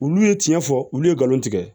Wulu ye tiɲɛ fɔ olu ye nkalon tigɛ